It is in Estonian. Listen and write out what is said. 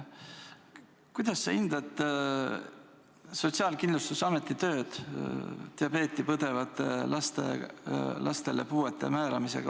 Kuidas sa hindad Sotsiaalkindlustusameti tööd diabeeti põdevatele lastele puudeastme määramisel?